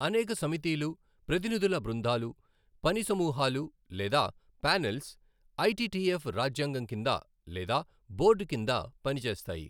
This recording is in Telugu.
అనేక సమితిలు, ప్రతినిధుల బృందాలు, పని సమూహాలు లేదా ప్యానెల్స్ ఐటిటిఎఫ్ రాజ్యాంగం కింద లేదా బోర్డు కింద పనిచేస్తాయి.